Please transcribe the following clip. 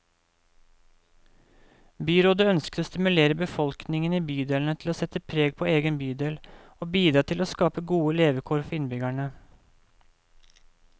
Byrådet ønsker å stimulere befolkningen i bydelene til å sette preg på egen bydel, og bidra til å skape gode levekår for innbyggerne.